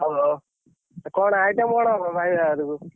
ହଉ ହଉ କଣ item କଣ ହବ? ଭାଇ ବାହାଘରକୁ?